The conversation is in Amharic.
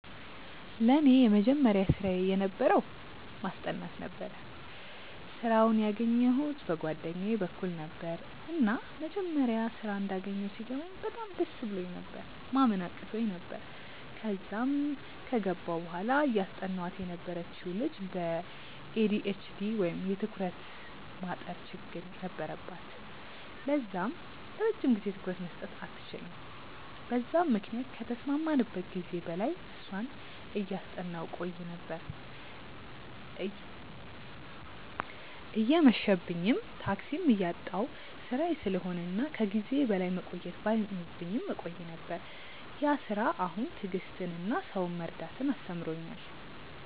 ለኔ የመጀመሪያ ስራየ የነበረው ማስጠናት ነበረ። ስራውን ያገኘዉት በ ጓደኛየ በኩል ነበረ፤ እና መጀመሪያ ስራ እንዳገኘው ሲገባኝ በጣም ደስ ብሎኝ ነበር፤ ማመን አቅቶኝ ነበር፤ ከዛም ከገባው በኋላ እያስጠናዋት የነበረችው ልጅ በ ኤ.ዲ.ኤ.ች.ዲ ወይም የ ትኩረት ማጠር ችግር ነበረባት ለዛም ለረጅም ጊዜ ትኩረት መስጠት አትችልም በዛም ምክንያት ከተስማማንበት ጊዜ በላይ እሷን እያጠናው ቆይ ነበር፤ እየመብኝም፤ ታክሲም እያጣው ስራዬ ስለሆነ እና ከ ጊዜዬ በላይ መቆየት ባይኖርብኝም እቆይ ነበር፤ ያ ስራ አሁን ትዕግስትን እና ሰውን መረዳትን አስተምሮኛል።